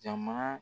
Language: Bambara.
Jama